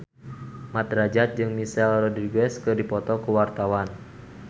Mat Drajat jeung Michelle Rodriguez keur dipoto ku wartawan